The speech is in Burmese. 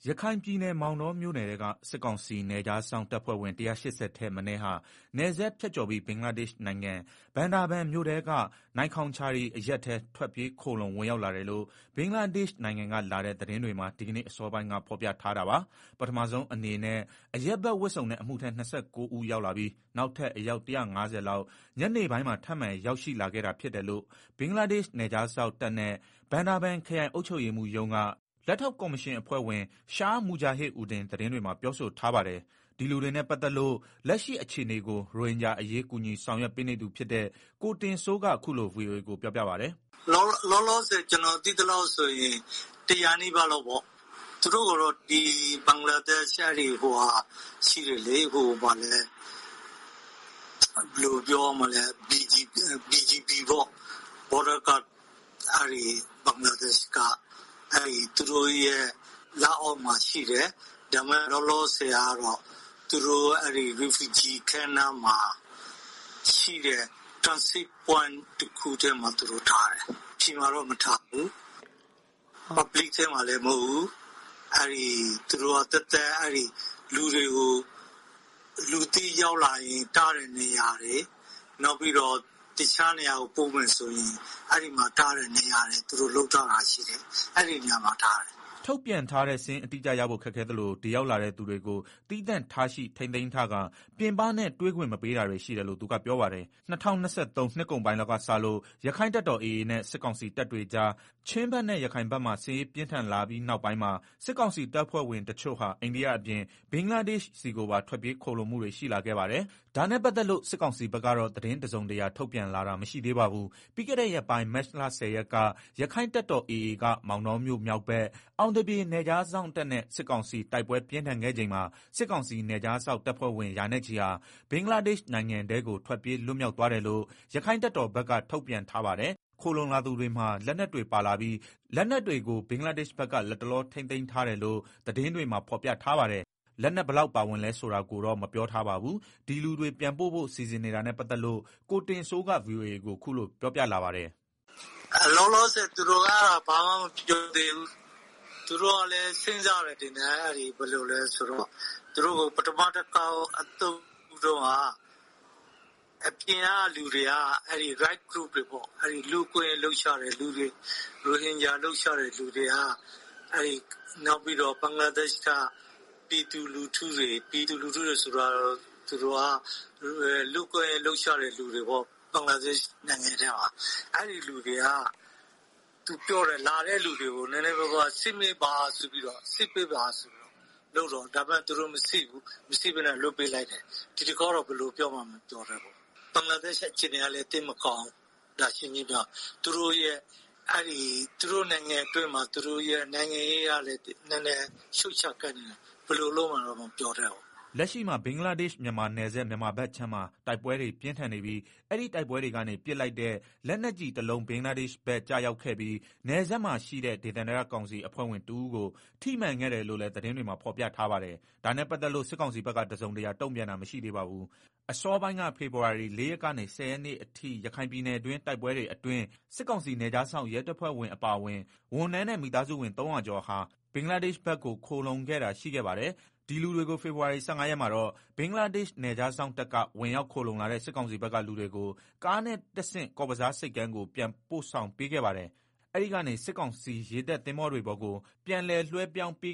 ရခိုင်ပြည်နယ်၊ မောင်တောမြို့နယ်ထဲက စစ်ကောင်စီနယ်ခြားစောင့်တပ်ဖွဲ့ဝင် ၁၈၀ ထပ်မနည်းဟာ နယ်စပ်ဖြတ်ကျော်ပြီး ဘင်္ဂလားဒေ့ရှ်နိုင်ငံ၊ ဘန်ဒါဘန်မြို့ထဲက နိုင်ခေါင်ချာရီဒေသထဲ ဝင်ရောက်လာတယ်လို့ ဘင်္ဂလားဒေ့ရှ်နိုင်ငံကလာတဲ့ သတင်းတွေမှာဒီကနေ့အစောပိုင်းကဖော်ပြထားတာပါ။ ပထမဆုံးအနေနဲ့ အရပ်ဝတ်နဲ့ အမှုထမ်း ၂၉ ဦး ရောက်လာပြီး နောက်ထပ် အယောက် ၁၅၀ ခန့် ညနေပိုင်းမှာ ထပ်မံရောက်ရှိလာခဲ့တာဖြစ်တယ်လို့ ဘင်္ဂလားဒေ့ရှ် နယ်ခြားစောင့်တပ်နဲ့ ဘန်ဒါဘန်ခရိုင် အုပ်ချုပ်ရေးမှူးရုံးက လက်ထောက်ကော်မရှင်အဖွဲ့ဝင် Shah Mujahid Uddin သတင်းတွေမှာပြောဆိုထားပါတယ်။ ဒီလူတွေနဲ့ပတ်သတ်လို့ လက်ရှိအခြေအနေကို ရိုဟင်ဂျာအရေးကူညီဆောင်ရွက်ပေးနေသူဖြစ်တဲ့ ကိုတင်စိုး ကအခုလို ဗွီအိုအေကိုပြော ပြပါတယ်။ "လောလောဆယ်ကျနော်သိသလောက်ဆိုရင်တရာနီးပါးလောက်ပေါ့။ သူတို့ကိုဘင်္ဂလားဒေရှ်ဘက်က ဘယ်လိုပြောရမလဲ BGD ပေါ့ ဘင်္ဂလားဒေ့ရှ်က Border Guard ပေါ့။ သူတို့လက်အောက်မှာရှိတယ်။ သူတို့ကိုလောလောဆယ် refugee camp နားမှာ ရှိတဲ့ Transit Camp တခုထဲမှာထားတယ်။ အပြင်မှာ တော့မထားဘူး။ အတွင်းထဲမှာလည်းမဟုတ်ဘူး။ သူတို့ကလူတွေကို လူသစ်ရောက်လာရင်ထားတဲ့ နေရာတွေ၊ တခြားနေရာကိုပို့မယ်ဆို ထားတဲ့နေရာတွေရှိတယ် အဲနေရာတွေမှာထားတယ်။" ထုတ်ပြန်ထားတဲ့စာရင်းအတိအကျရဖို့ခက်ခဲသလို ဒီရောက်လာတဲ့သူတွေကိုသီးသန့်ထားရှိ ထိန်းသိမ်းထားကာ ပြင်ပနဲ့တွေ့ခွင့်မပေးဘူးလို့သူကပြောပါတယ်။ ၂၀၂၃ နှစ်ကုန်ပိုင်းလောက်ကစလို့ ရက္ခိုင့်တပ်တော် နဲ့စစ်ကောင်စီတပ်တွေကြား ချင်းဘက်နဲ့ ရခိုင်ဘက်မှာ စစ်ရေး ပြင်းထန်လာပြီးနောက်ပိုင်း စစ်ကောင်စီတပ်ဖွဲ့ဝင်တချို့ဟာ အိန္ဒိယအပြင် ဘင်္ဂလားဒေ့ရှ်နိုင်ငံဆီကိုပါ ထွက်ပြေးခိုလှုံလာခဲ့ပါတယ်။ ဒါနဲ့ပတ်သတ်လို့ စစ်ကောင်စီဘက်ကတော့ သတင်းတစ်စုံတစ်ရာထုတ်ပြန်လာတာ မရှိသေးပါဘူး။ ပြီးခဲ့တဲ့ရက်ပိုင်း မတ်လ ၁၀ ရက်က မောင်တောမြို့ မြောက်ဘက်၊ အောင်သ ပြေနယ်ခြား စောင့်တပ်နဲ့စစ်ကောင်စီ တိုက်ပွဲပြင်းထန်ခဲ့ချိန် စစ်ကောင်စီ နယ်ခြားစောင့် တပ်ဖွဲ့ဝင် ရာနဲ့ချီဟာ ဘင်္ဂလားဒေ့ရှ်နိုင်ငံထဲကို ထွက်ပြေးလွတ်မြောက်သွားတယ်လို့ ရက္ခိုင့်တပ်တော် ကထုတ်ပြန် ထားပါတယ်။ ခိုလှုံလာသူတွေမှာ လက်နက်တွေပါလာပြီး လက်နက်တွေကို ဘင်္ဂလားဒေ့ရှ်ဘက်က လတ်တလော ထိန်းသိမ်းထားတယ်လို့ သတင်းတွေမှာဖော်ပြထားပါတယ်။ လက်နက်ဘယ်လောက်ပါဝင်လဲဆိုတာ ကိုတော့မပြောထားပါဘူး။ ဒီလူတွေပြန်ပို့ဖို့စီစဉ်နေတာနဲ့ပတ်သတ်လို့ ကိုတင်စိုးက ဗွီအိုအေကို ခုလို ပြောပြလာပါတယ်။ "လောလောဆယ်သူတို့အဲဒါဘာမှမပြောသေးဘူး သူတို့ကလည်းစဉ်းစားတယ်ထင်တယ်ဘယ်လိုလဲ ဆိုတော့ ပထမတခေါက်အသုတ်တုန်းက အပြင်ကလူတွေ Right Group တွေက လူ့အခွင့်အရေးနဲ့ ရိုဟင်ဂျာအရေးလှုပ်ရှားသူတွေက နောက်ဘင်္ဂလားဒေရှ်ဘက်ကပြည်သူလူထုတွေ ပြည်သူလူထုတွေ ဆိုတာက လူ့အခွင့်အရေးလှုပ်ရှားသူတွေ ဘင်္ဂလားဒေ့ရှ်ထဲ နေတဲ့သူတွေက လာတဲ့သူတွေကိုစစ်ပေးပါဆိုတာမျိုး လုပ်တော့သူတို့မစစ်ဘူး။ မစစ်ဘဲလွှတ်ပေးလိုက်တယ်။ ဒီတခေါက်ဘယ်လိုပြောမလဲ မသိသေးဘူး။ ဘင်္ဂလားဒေရှ်အခြေအနေကလည်းသိပ်မကောင်းဘူး ရှင်းရှင်းပြောရရင်လေ သူတို့ရဲ့ နိုင်ငံတွင်းမှာလဲ နိုင်ငံရေးက ရှုပ်ယှက်ခတ်နေတယ်။ ခုဘယ်လိုလုပ်မယ်မပြောတတ်ဘူး " လက်ရှိမှာ ဘင်္ဂလားဒေ့ရှ်-မြန်မာနယ်စပ် မြန်မာဘက်ခြမ်းမှာ တိုက်ပွဲတွေပြင်းထန်နေပြီး၊ အဲဒီတိုက်ပွဲတွေ ကနေ ပစ်လိုက်တဲ့ လက်နက်ကြီးကျည်တစ်လုံး ဘင်္ဂလားဒေ့ရှ်ဘက် ကျရောက်ခဲ့ပြီး၊ နယ်စပ်မှာရှိတဲ့ ဒေသန္တရကောင်စီအဖွဲ့ဝင်တစ်ဦးကို ထိမှန်ခဲ့တယ်လို့လည်း သတင်းတွေမှာဖော်ပြထားပါတယ်။ ဒါနဲ့ပတ်သတ်လို့စစ်ကောင်စီဘက်ကတစုံတရာတုံ့ပြန်တာမရှိသေးပါဘူး။ ဖေဖော်ဝါရီ ၄ ရက်မှ ၁၀ ရက်မှာလည်း ရခိုင်ပြည်နယ်က တိုက်ပွဲတွေအတွင်း စစ်ကောင်စီနယ်ခြားစောင့်ရဲတပ်ဖွဲ့ဝင်အပါအဝင် ဝန်ထမ်းနဲ့ မိသားစုဝင် ၃၀၀ ကျော်ဟာ ဘင်္ဂလားဒေ့ရှ် ဘက်ကို ခိုလှုံခဲ့တာရှိခဲ့ပါတယ်။ ဖေဖော်ဝါရီ ၁၅ရက်မှာတော့ အဲဒီလူတွေကို ဘင်္ဂလားဒေ့ရှ်နယ်ခြား စောင့်တပ်က စစ်ကောင်စီရေတပ်သင်္ဘောတွေပေါ်ကို ပြန်လည်လွှဲပြောင်း ပေ